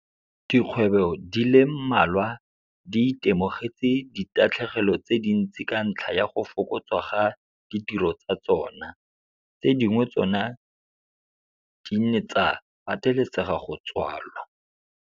Dikgwebo di le mmalwa di itemogetse ditatlhegelo tse dintsi ka ntlha ya go fokotswa ga ditiro tsa tsona. Tse dingwe tsona di ne tsa patelesega go tswalwa.